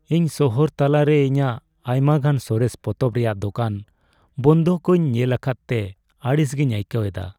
ᱤᱧ ᱥᱟᱦᱟᱨ ᱛᱟᱞᱟᱨᱮ ᱨᱮ ᱤᱧᱟᱹᱜ ᱟᱭᱢᱟᱜᱟᱱ ᱥᱚᱨᱮᱥ ᱯᱚᱛᱚᱵ ᱨᱮᱭᱟᱜ ᱫᱳᱠᱟᱱ ᱵᱚᱸᱫᱽ ᱠᱚᱧ ᱧᱮᱞ ᱟᱠᱟᱫ ᱛᱮ ᱟᱲᱤᱥ ᱜᱤᱧ ᱟᱹᱭᱠᱟᱹᱣ ᱮᱫᱟ ᱾